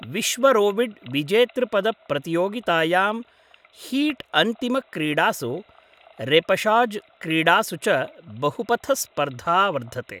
विश्वरोविङ् विजेतृपद प्रतियोगितायां हीट् अन्तिम क्रीडासु, रेपशाज् क्रीडासु च बहुपथस्पर्धा वर्तते।